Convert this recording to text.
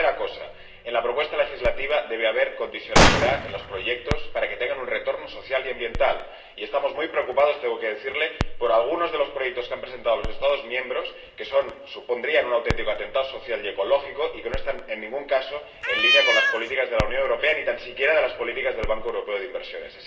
La tercera cosa en la propuesta legislativa debe haber condicionalidad en los proyectos para que tengan un retorno social y ambiental, y estamos muy preocupados, tengo que decirle, por algunos de los proyectos que han presentado los Estados miembros, que supondrían un auténtico atentado social y ecológico y que no están en ningún caso en línea con las políticas de la Unión Europea, ni tan siquiera de las políticas del Banco Europeo de Inversiones.